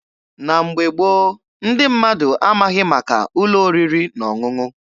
Na mgbe gboo, ndị mmadụ amaghị maka ụlọ oriri na ọṅụṅụ.